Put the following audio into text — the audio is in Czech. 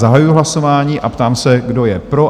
Zahajuji hlasování a ptám se, kdo je pro?